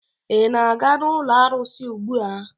Ị na-aga n'ụlọ arụsị ugbua?